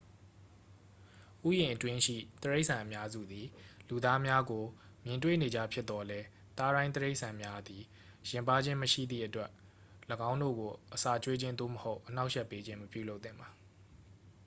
ဥယျာဉ်အတွင်းရှိ တိရိစ္ဆာန်အများစုသည် လူသားများကို မြင်တွေ့နေကျဖြစ်သော်လည်း သားရိုင်းတိရိစ္ဆာန်များသည် ယဉ်ပါးခြင်းမရှိသည့်အတွက် ၎င်းတို့ကို အစာကျွေးခြင်း သို့မဟုတ် အနှောက်အယှက်ပေးခြင်း မပြုလုပ်သင့်ပါ